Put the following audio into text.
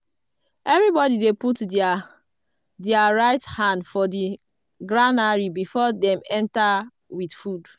everybody dey put their their right hand for di granary before dem enter with food.